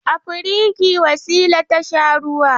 A firigi Wasila ta sha ruwa.